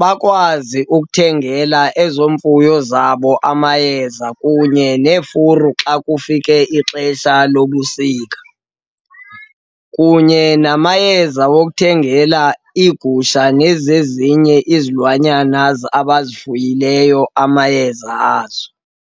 bakwazi ukuthengela ezo mfuyo zabo amayeza kunye neefuru xa kufike ixesha lobusika, kunye namayeza wokuthengela iigusha nezezinye izilwanyana abazifunayo amayeza azo.